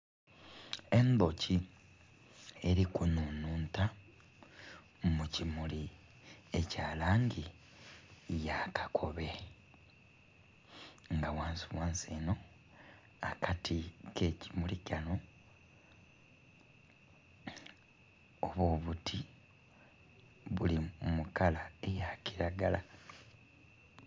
Endhoki eli kunhunhunta mu kimuli ekya langi ya kakobe. Nga ghansighansi eno akati k'ekimuli kano, oba obuti buli mu kala eya kiragala.